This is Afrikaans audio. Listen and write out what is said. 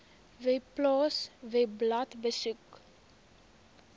webpals webblad besoek